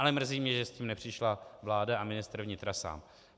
Ale mrzí mě, že s tím nepřišla vláda a ministr vnitra sám.